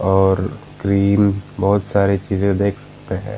और क्रीम बहुत सारे चीजे डेस्क पे है |